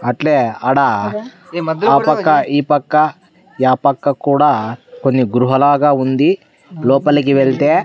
అట్లే ఆడ ఆ పక్క ఈ పక్క ఏ పక్క కూడా కొన్ని గృహలాగా ఉంది లోపలికి వెళ్తే.